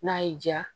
N'a y'i diya